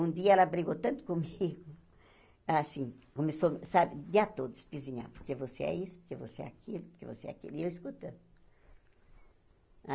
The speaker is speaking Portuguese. Um dia ela brigou tanto comigo, assim, começou, sabe, o dia todo espisinhando, porque você é isso, porque você é aquilo, porque você é aquilo, e eu escutando.